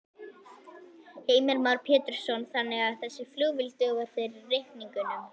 Heimir Már Pétursson: Þannig að þessi flugvél dugar fyrir reikningnum?